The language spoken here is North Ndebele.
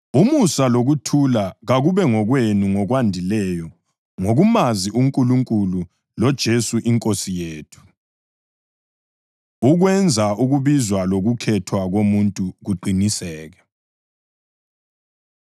Umusa lokuthula kakube ngokwenu ngokwandileyo ngokumazi uNkulunkulu loJesu iNkosi yethu. Ukwenza Ukubizwa Lokukhethwa Komuntu Kuqiniseke